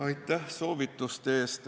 Aitäh soovituste eest!